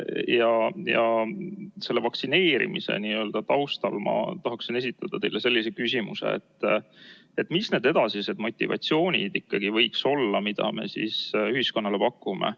Ja selle vaktsineerimise taustal ma tahaksin esitada teile sellise küsimuse: mis need edasised motivatsioonid ikkagi võiks olla, mida me siis ühiskonnale pakume?